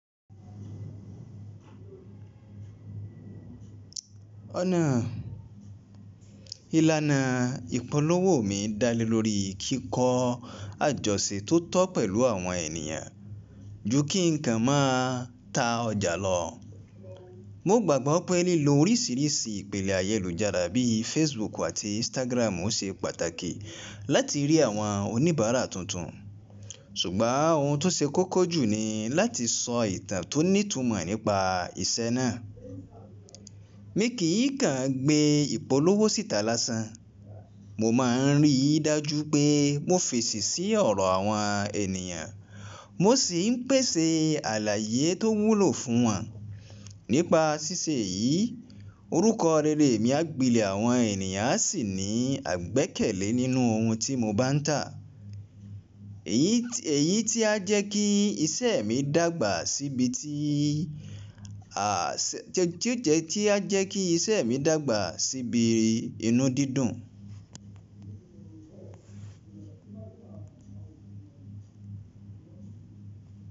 Ọ̀nà, ìlànà ìpolówó mi dá lé lórí kíkọ́ àjọṣe tó tọ́ pẹ̀lú àwọn ènìyàn ju kí ǹkan máa ta ọjà lọ. Mo gbàgbọ́ pé lílo oríṣìíríṣìí ìpele ayélujára bí i Facebook àti Instagram ń ṣe pàtàkì láti rí àwọn oníbàárà tuntun. Ṣùgbọ́n ohun tó ṣe kókó jù ni láti sọ ìtàn tó ní ìtumọ̀ nípa iṣẹ́ náà. Mi kì í kàn gbé ìpolówó síta lásán. Mo máa ń rí i dájú pé mo fèsì sí ọ̀rọ̀ àwọn ènìyàn, mo sì ń pèsè àlàyé tó wúlò fún wọn. Nípa ṣíṣe yìí, orúkọ rere mi á gbilẹ̀ àwọn ènìyàn á sì ní àìgbẹ́kẹ̀lé nínú ohun tí mo bá ń tà. Èyí tí a jékí isẹ́ tí á jẹ́ kí iṣẹ́ mi dàgbà síbi inú dídùn.